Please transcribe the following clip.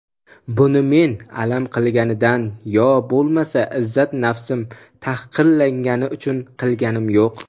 buni men alam qilgandan yo bo‘lmasa izzat-nafsim tahqirlangani uchun qilayotganim yo‘q.